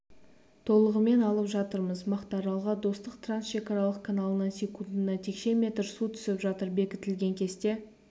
толығымен алып жатырмыз мақтааралға достық трансшекаралық каналынан секундына текше метр су түсіп жатыр бекітілген кесте